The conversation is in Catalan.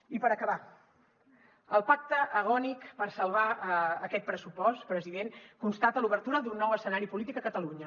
i per acabar el pacte agònic per salvar aquest pressupost president constata l’obertura d’un nou escenari polític a catalunya